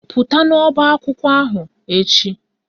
Pụta n'ọbaakwụkwọ ahụ echi!